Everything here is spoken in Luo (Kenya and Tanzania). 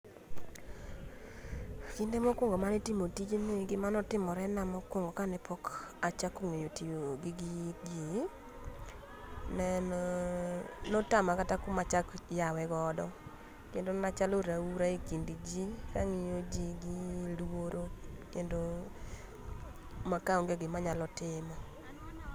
Kinde mokuongo mar timo tijni, gimane otimore na mokuongo kane pok achako ng'eyo kak aitiyo gi gigi, ne en, notama kata kuma achak yawe godo kendo nachalo raura e kind jii kangiyo jii gi luoro kendo maka onge gima nayalo timo